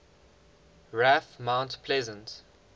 raf mount pleasant